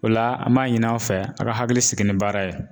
O la an m'a ɲini aw fɛ a ka hakili sigi ni baara ye.